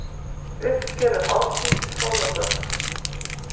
Uppskeruhátíð í skólagörðum